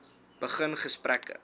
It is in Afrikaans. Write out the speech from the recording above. begin gesprekke